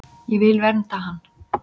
Ég vil vernda hann.